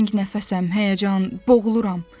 Təngnəfəsəm, həyəcan, boğuluram.